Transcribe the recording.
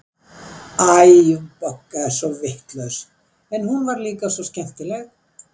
Æ, hún Bogga var svo vitlaus, en hún var líka svo skemmtileg.